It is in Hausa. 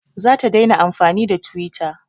Za ta daina amfani da twitter